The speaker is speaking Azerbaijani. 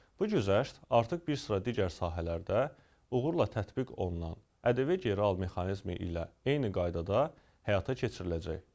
Bu güzəşt artıq bir sıra digər sahələrdə uğurla tətbiq olunan ƏDV geri al mexanizmi ilə eyni qaydada həyata keçiriləcək.